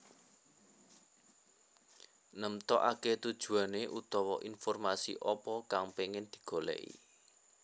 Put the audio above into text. Nemtokake tujuane utawa informasi apa kang pengin digoleki